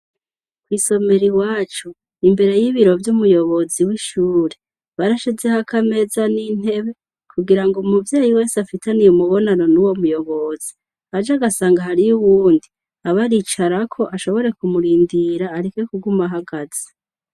Kw'isomero iwacu imbere y'ibiro vy'umuyobozi w'ishure barashizeho akameza n'intebe kugira ngo umuvyeyi wese afitaniye umubonano n'uwo muyobozi, aje agasanga hariyo uwundi aba aricarako ashobore kumurindira areke kuguma ahagaze.